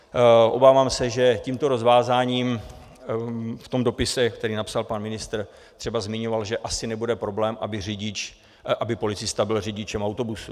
Obávám se, že tímto rozvázáním v tom dopise, který napsal, pan ministr třeba zmiňoval, že asi nebude problém, aby policista byl řidičem autobusu.